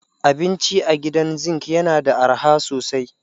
Abinci a Gidan Zinc yana da arha sosai